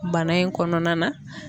Bana in kɔnɔna na